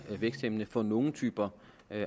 væksthæmmende for nogle typer